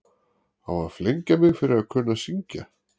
Á að flengja mig fyrir að kunna að syngja?